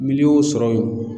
Miliyɔn y'o sɔrɔ.